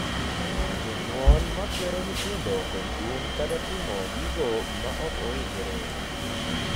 jonyuol ma kwero nyithindo kod kum kata timo gigo ma ok owinjore